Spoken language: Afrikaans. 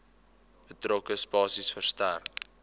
betrokke spasie verstrek